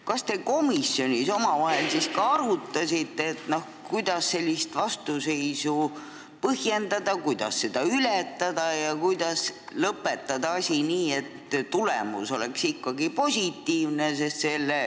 Kas te komisjonis omavahel arutasite, kuidas sellist vastuseisu põhjendada, kuidas seda ületada ja kuidas lõpetada asi nii, et tulemus oleks ikkagi positiivne?